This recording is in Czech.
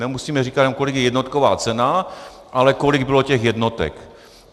Nemusíme říkat jenom, kolik je jednotková cena, ale kolik bylo těch jednotek.